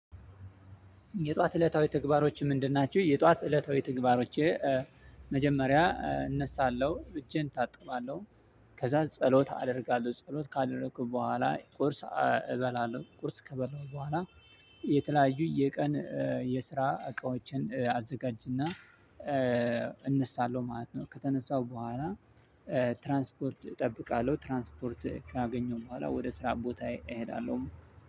የጧት እለታዊ ተግባሮች ምንድን ናችሁ? የጧት እለታዊ ተግባሮቼ መጀመሪያ እነሳለሁ እጄን ታጥባለሁ። ከዛ ጸሎት አደርጋለሁ ጸሎት ካደረኩ በኋላ ቁርስ እበላለሁ። ቁርስ ከበላሁ በኋላ የተለያዩ የቀን የስራ እቃዎችን አዘጋጅና እነሳለው ማለት ነው። ከተነሳው በኋላ ትራንስፖርት እጠብቃለሁ። ትራንስፖርት ካገኘሁ በኋላ ወደ ስራ ቦታ እሄዳለሁ።